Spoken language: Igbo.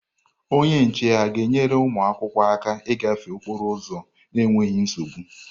Onye nche ga-enyere ụmụ akwụkwọ aka ịgafe okporo ụzọ n'enweghị nsogbu?